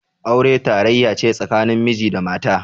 Aure tarayya ce tsakanin miji da mata.